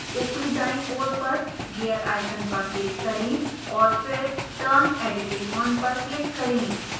ऊपरी दायीं ओर पर gear icon पर click करें और फिर turn editing on पर click करें